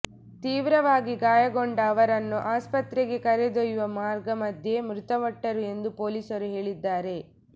ತೀವ್ರವಾಗಿ ಗಾಯಗೊಂಡ ಅವರನ್ನು ಆಸ್ಪತ್ರೆಗೆ ಕರೆದೊಯ್ಯುವ ಮಾರ್ಗ ಮಧ್ಯೆ ಮೃತಪಟ್ಟರು ಎಂದು ಪೊಲೀಸರು ಹೇಳಿದ್ದಾರೆ